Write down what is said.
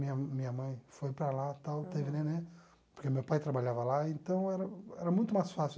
Minha minha mãe foi para lá tal, teve neném, porque meu pai trabalhava lá, então era era muito mais fácil.